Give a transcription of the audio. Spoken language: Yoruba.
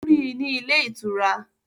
Ó rí i ní ilé ìtura